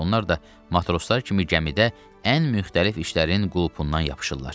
Onlar da matroslar kimi gəmidə ən müxtəlif işlərin qulpundan yapışırlar.